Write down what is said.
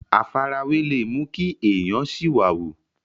àfarawé le mú kí èèyàn sìwàwù